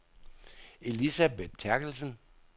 Elisabeth Therkelsen